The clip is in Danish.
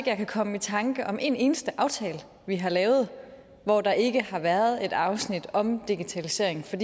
jeg kan komme i tanker om en eneste aftale vi har lavet hvor der ikke har været et afsnit om digitalisering for